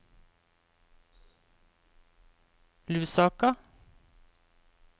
Lusaka